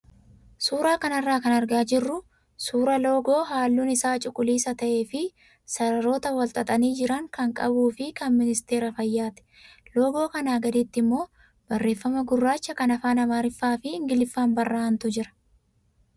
Suuraa kanarraa kan argaa jirru suuraa loogoo halluun isaa cuquliisa ta'ee fi sararoota wal xaxanii jiran kan qabuu fi kan ministeera fayyaati. Loogoo kanaa gaditti immoo barreeffama gurraacha kan afaan amaariffaa fi ingiliffaan barraa'antu jira.